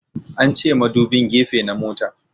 An ce madubin gefe na motan